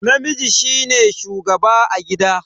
Namiji shine shugaba a gida.